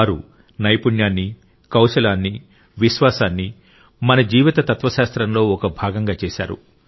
వారు నైపుణ్యాన్ని కౌశలాన్ని విశ్వాసాన్ని మన జీవిత తత్వశాస్త్రంలో ఒక భాగంగా చేశారు